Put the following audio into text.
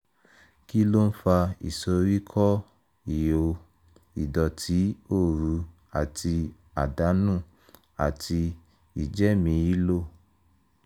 kí ló ń fa ìsoríkọ́ ìho ìdọ̀tí òru àti àdánù àti ìjẹ́mìílò?